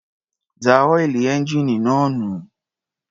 Dá ọ́ìlì ẹ́ńjíìnì náà nù.